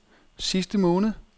sidste måned